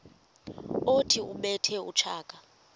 othi ubethe utshaka